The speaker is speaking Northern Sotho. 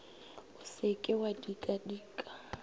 o se ke wa dikadika